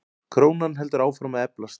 Krónan heldur áfram að eflast.